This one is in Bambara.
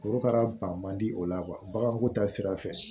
Korokara ban man di o la baganko ta sira fɛ